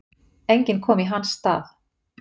Enginn kom í hans stað.